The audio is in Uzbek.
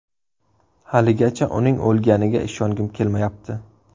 Haligacha uning o‘lganiga ishongim kelmayapti.